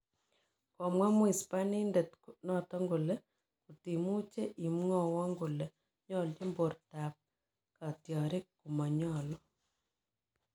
Komwa mhispandinet noton kolee kotimuche imwawon kole nyolchin bortab ab katyarik komanyalu